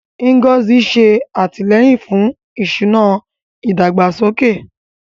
Ngozi ń ṣe àtìlẹ́yìn fún ìṣúná ìdàgbàsókè.